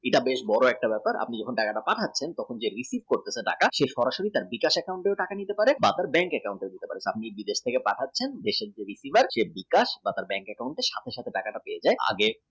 এটা বেশ বড় একটা ব্যাপার আপনি যে টাকাটা পাঠছেন যে recieve করছে টাকা সে সরাসরি বিকাশ account এ পাঠিয়ে দিতে পারে বা bank account এ আপনি যখন বিদেশ থেকে পাঠাচ্ছেন সে বিকাশ বা bank account এ সাথে সাথে পেয়ে যাবে।